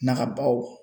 Naga baw